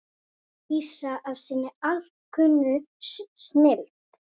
lýsa af sinni alkunnu snilld.